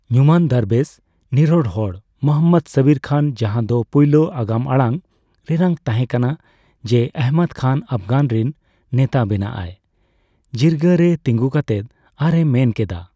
ᱧᱩᱢᱟᱱ ᱫᱚᱨᱵᱮᱥ (ᱱᱤᱨᱚᱲ ᱦᱚᱲ) ᱢᱚᱦᱚᱢᱢᱚᱫ ᱥᱟᱵᱤᱨ ᱠᱷᱟᱱ, ᱡᱟᱸᱦᱟᱫᱚ ᱯᱩᱭᱞᱳ ᱟᱜᱟᱢᱟᱲᱟᱝ ᱨᱮᱱᱟᱜ ᱛᱟᱸᱦᱮ ᱠᱟᱱᱟ ᱡᱮ ᱚᱦᱚᱢᱚᱫ ᱠᱷᱟᱱ ᱚᱯᱜᱟᱱᱚ ᱨᱤᱱ ᱱᱮᱛᱟ ᱵᱮᱱᱟᱜᱼᱟᱭ, ᱡᱤᱨᱜᱟᱹ ᱨᱮ ᱛᱤᱸᱜᱩ ᱠᱟᱛᱮᱭ ᱟᱨ ᱮ ᱢᱮᱱᱠᱮᱫᱟ ᱾